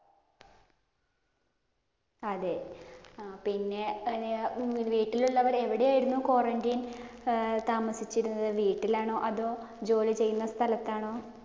അതേ. ആഹ് പിന്നെ വീട്ടിലുള്ളവർ എവിടെയായിരുന്നു quarantine? ആഹ് താമസിച്ചിരുന്നത്? വീട്ടിലാണോ? അതോ ജോലി ചെയ്യുന്ന സ്ഥലത്താണോ?